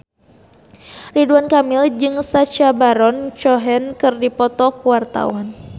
Ridwan Kamil jeung Sacha Baron Cohen keur dipoto ku wartawan